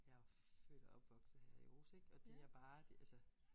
Jeg jo født og opvokset her i Aarhus ik og det er bare det altså